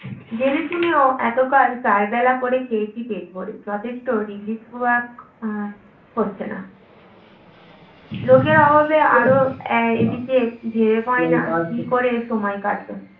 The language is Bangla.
জেনেশুনেও এতকাল চার বেলা করে খেয়েছি পেট ভরে যথেষ্ট relief work আহ হচ্ছে না লোকের অভাবে, আআরও এদিকে ভেবে পাই না কী করে সময় কাটাবে